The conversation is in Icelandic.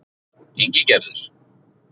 Ingigerður